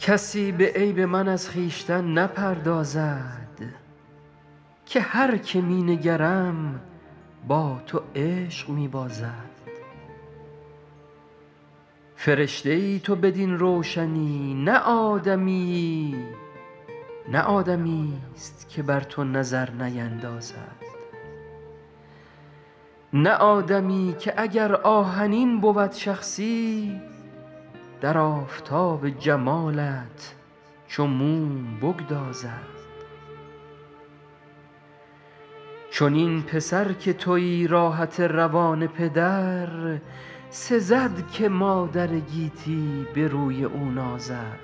کسی به عیب من از خویشتن نپردازد که هر که می نگرم با تو عشق می بازد فرشته ای تو بدین روشنی نه آدمیی نه آدمیست که بر تو نظر نیندازد نه آدمی که اگر آهنین بود شخصی در آفتاب جمالت چو موم بگدازد چنین پسر که تویی راحت روان پدر سزد که مادر گیتی به روی او نازد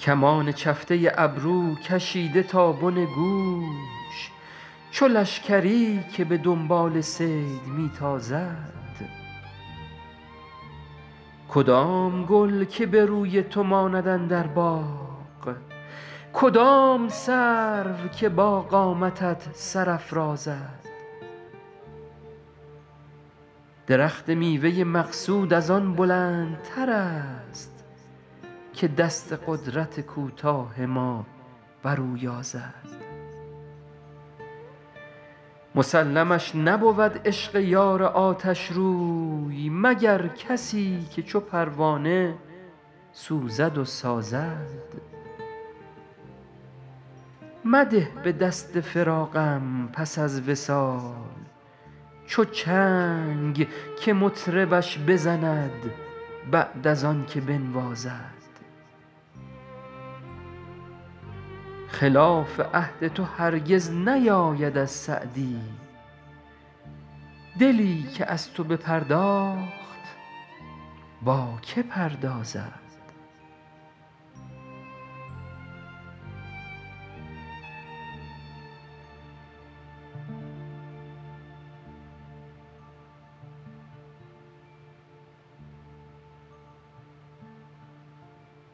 کمان چفته ابرو کشیده تا بن گوش چو لشکری که به دنبال صید می تازد کدام گل که به روی تو ماند اندر باغ کدام سرو که با قامتت سر افرازد درخت میوه مقصود از آن بلندترست که دست قدرت کوتاه ما بر او یازد مسلمش نبود عشق یار آتشروی مگر کسی که چو پروانه سوزد و سازد مده به دست فراقم پس از وصال چو چنگ که مطربش بزند بعد از آن که بنوازد خلاف عهد تو هرگز نیاید از سعدی دلی که از تو بپرداخت با که پردازد